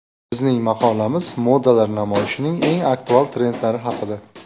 Bizning maqolamiz modalar namoyishining eng aktual trendlari haqida.